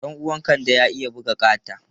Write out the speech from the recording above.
Ɗan uwan Kande ya iya buga kata.